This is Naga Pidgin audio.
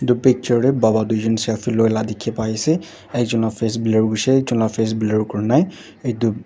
etu picture te baba tuijun selfie loila dikhi pai ase aro ekjun la face blur hoishae aro ekjun la face blur kurinai etu--